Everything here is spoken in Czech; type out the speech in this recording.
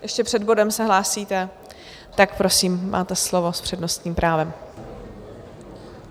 Ještě před bodem se hlásíte, tak prosím, máte slovo s přednostním právem.